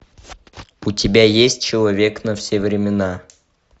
у тебя есть человек на все времена